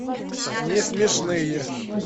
не смешные